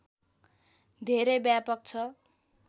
धेरै व्यापक छ